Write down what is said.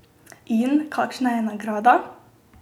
In kakšna je nagrada?